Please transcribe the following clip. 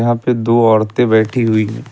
यहां पे दो औरते बैठी हुई--